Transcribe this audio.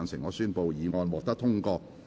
我宣布議案獲得通過。